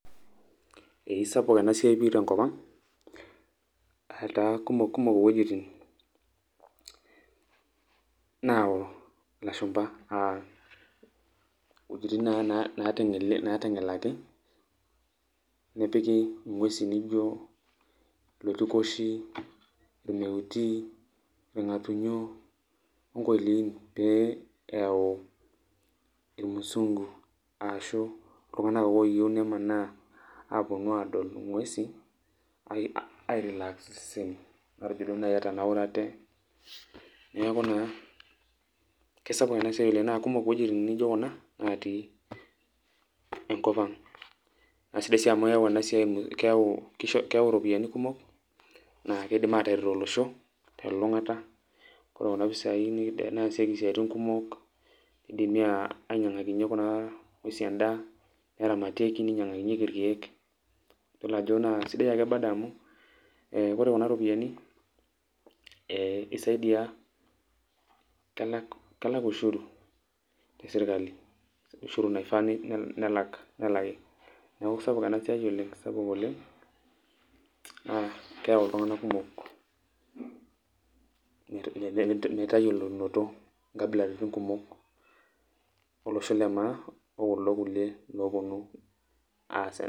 Ee sapuk enasiai pi tenkop ang',etaa kumok kumok iwuejiting nao ilashumpa, iwuejiting naiteng'elaki nepiki ing'uesin nijo iloitikoshi, irmeuti, irng'atunyo, onkoiliin, pee eeu irmusunku, ashu iltung'anak ake oyieu nemanaa aponu adol ing'uesi, ai relax iseseni, matejo duo nai etanaurate, neeku naa kesapuk enasiai oleng',na kumok iwuejiting nijo kuna, natii enkop ang'. Na sidai si amu keeu enasiai keeu iropiyiani kumok, na kidim ataret olosho telulung'ata, ore kuna pisai nesieki intokiting kumok, kidimi ainyang'akinye kuna ng'uesi endaa, neramatieki, ninyang'akinyeki irkeek, yiolo ajo na sidai ake bado amu, eh ore kuna ropiyaiani isaidia kelak ushuru ,tesirkali. Ushuru naifaa nelaki. Neeku kesapuk enasiai oleng',kesapuk oleng'. Keeu iltung'anak kumok metayiolounoto nkabilaritin kumok, olosho le maa, okuldo kulie lopunu aas..